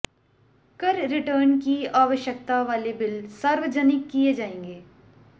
कर रिटर्न की आवश्यकता वाले बिल सार्वजनिक किए जाएंगे